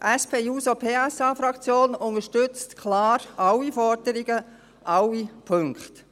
Die SP-JUSO-PSA-Fraktion unterstützt klar alle Forderungen, alle Punkte.